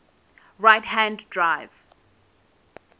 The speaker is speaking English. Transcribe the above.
right hand drive